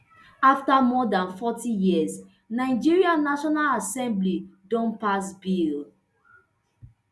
afta more dan forty years nigeria national assembly don pass bill